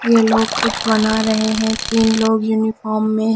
ये लोग कुछ बना रहे हैं तीन लोग यूनिफॉर्म में --